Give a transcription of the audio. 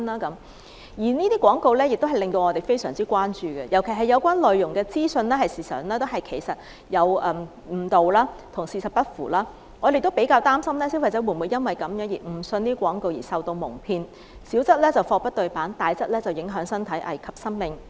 這些廣告同樣引起我們關注，尤其是有關的資訊內容誤導、跟事實不符，我們擔心消費者會否誤信廣告而受到矇騙，小則貨不對辦，大則影響身體，危及生命。